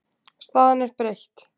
Staðan er breytt.